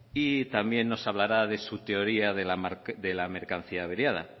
y también nos hablará de su teoría de la mercancía averiada